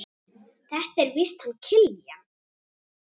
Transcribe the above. Þetta er víst hann Kiljan.